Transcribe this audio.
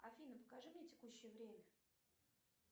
афина покажи мне текущее время